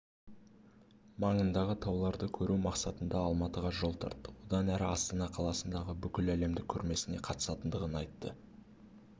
маңындағы тауларды көру мақсатында алматыға жол тартты одан әрі астана қаласындағы бүкіләлемдік көрмесіне қатысатындығын айтты